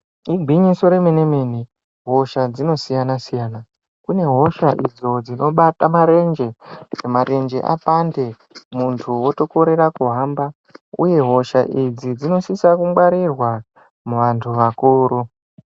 Igwinyiso remene mene hosha dzinosiyana siyana kune hosha hosha dzinobata marenje apande muntu otorekera kuhamba uye hosha idzi dzinosisa kungwarirwa muvantu vakuru.